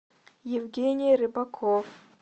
евгений рыбаков